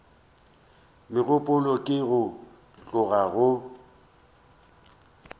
megopolo ke go tloga go